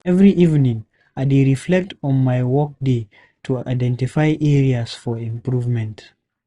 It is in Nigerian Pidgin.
Every evening, I dey reflect on my workday to identify areas for improvement.